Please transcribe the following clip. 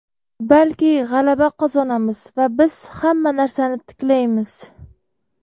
balki g‘alaba qozonamiz va biz hamma narsani tiklaymiz!.